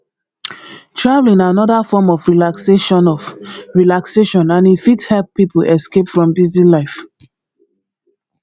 traveling na anoda form of relaxation of relaxation and e fit help pipo escape from busy life